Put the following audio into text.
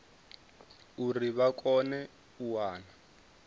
uri vha kone u wana